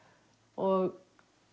og